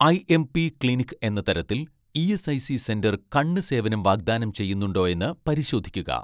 IMP clinic എന്ന തരത്തിൽ ESIC centre കണ്ണ് സേവനം വാഗ്ദാനം ചെയ്യുന്നുണ്ടോയെന്ന് പരിശോധിക്കുക